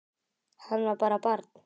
Hann var bara barn.